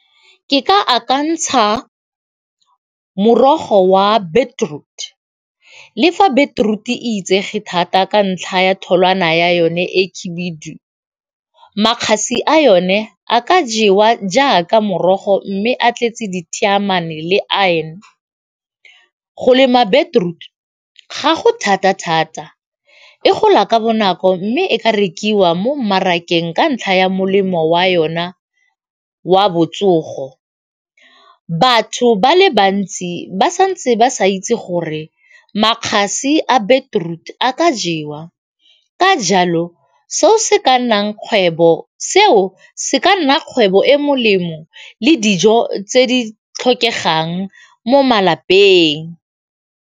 Ke ka akantsha morogo wa beetroot le fa beetroot e itsege thata ka ntlha ya tholwana ya yone e khibiudu, makgasi a yone a ka jewa jaaka morogo mme a tletse le iron. Go lema beetroot ga go thata thata e gola ka bonako mme e ka rekiwa mo mmarakeng ka ntlha ya molemo wa yona wa botsogo, batho ba le bantsi ba santse ba sa itse gore makgasi a beetroot a ka jewa ka jalo seo se ka nna kgwebo e molemo le dijo tse di tlhokegang mo malapeng.